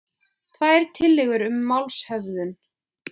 Tvær tillögur um málshöfðun